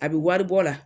A bɛ wari bɔ la